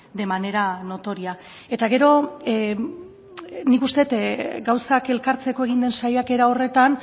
de manera notoria eta gero nik uste dut gauzak elkartzeko egin den saiakera horretan